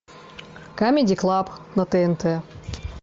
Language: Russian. камеди клаб на тнт